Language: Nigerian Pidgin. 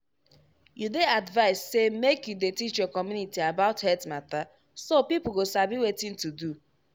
you dey advised say make you dey teach your community about health mata so people go sabi wetin to do.